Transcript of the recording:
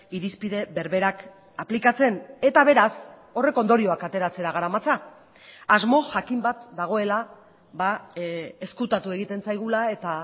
irizpide berberak aplikatzen eta beraz horrek ondorioak ateratzera garamatza asmo jakin bat dagoela ezkutatu egiten zaigula eta